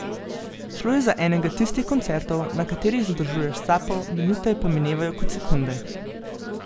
Šlo je za enega tistih koncertov, na katerih zadržuješ sapo, minute pa minevajo kot sekunde.